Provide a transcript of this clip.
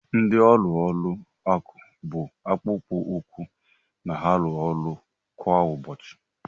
Ndị ọrụ ụlọ akụ bụ akpụkpọ ụkwụ na-arụ ọrụ kwa ụbọchị.